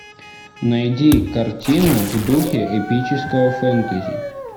найди картину в духе эпического фэнтези